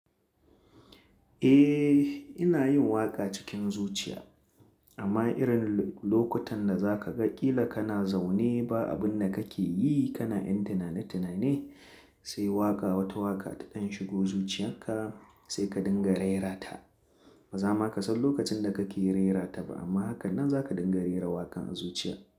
Eh, ina yin waƙa cikin zuciya amma irin lokutan da za ka ga ƙila kana zaune ba abun da kake yi, kana ƴan tinane tinane sai wata waƙa ta ɗen shigo zuciyarka sai ka dinga rera ta. Ba za ma ka san lokacin da kake rera ta ba amma hakanan za ka dinga rera waƙan a zuciya.